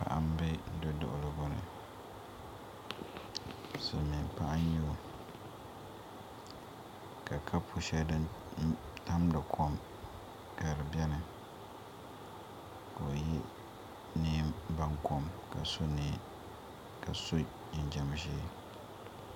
Paɣa n ʒɛ duduɣugu ni silmiin paɣa n nyɛ o ka kapu shɛli din tamdi kom ka si biɛni ka o yɛ neen baŋkom ka so jinjɛm ʒiɛ